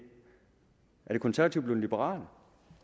er de konservative blevet liberale